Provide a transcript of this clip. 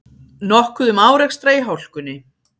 Nokkuð um árekstra í hálkunni